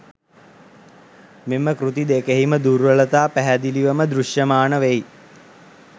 මෙම කෘති දෙකෙහිම දුර්වලතා පැහැදිලිවම දෘශ්‍යමාන වෙයි.